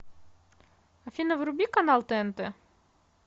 афина вруби канал тнт